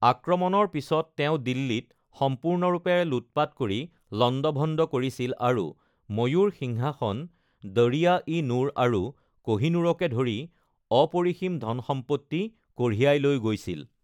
আক্ৰমণৰ পিছত তেওঁ দিল্লীত সম্পূৰ্ণৰূপে লুটপাত কৰি লণ্ডভণ্ড কৰিছিল আৰু ময়ূৰ সিংহাসন, দৰিয়া-ই-নুৰ আৰু কহিনুৰকে ধৰি অপৰিসীম ধন-সম্পত্তি কঢ়িয়াই লৈ গৈছিল।